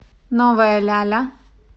новая ляля